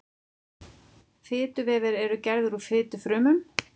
Fituvefir eru gerðir úr fitufrumum.